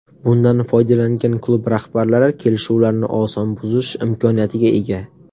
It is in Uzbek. Bundan foydalangan klub rahbarlari kelishuvlarni oson buzish imkoniyatiga ega.